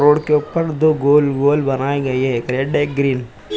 Road के ऊपर दो गोल - गोल बनाई गई है। एक रेड एक ग्रीन ।